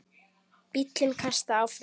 Bíllinn kastast áfram.